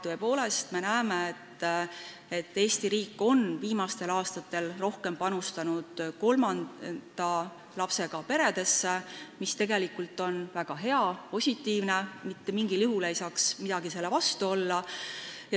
Tõepoolest, me näeme, et Eesti riik on viimastel aastatel rohkem panustanud kolmanda lapsega peredesse, mis tegelikult on väga hea, positiivne, mitte mingil juhul ei saaks midagi selle vastu olla.